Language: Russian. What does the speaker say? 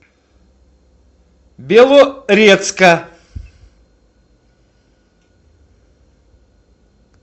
белорецка